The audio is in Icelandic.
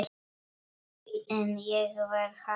En ég var haldin.